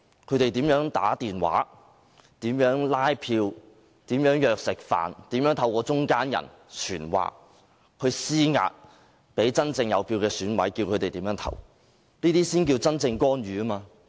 他們打電話拉票、相約飯局、透過中間人傳話等，向真正有選票的選委施壓，指示他們怎樣投票，這才是真正的干預。